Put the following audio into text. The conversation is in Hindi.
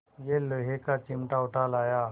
यह लोहे का चिमटा उठा लाया